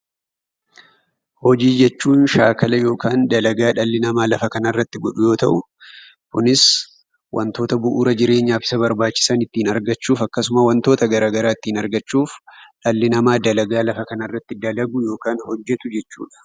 Hojii jechuun shaakala dhalli namaa lafa kanarrati godhuu yoo ta'u, Kunis wantoota bu'uura jireenyaaf Isa barbaachisan ittiin argachuuf akkasuma wantoota garaagaraa ittiin argachuuf dhalli namaa dalagaa lafa kanarrati dalagu yookaan hojjatu jechuudha.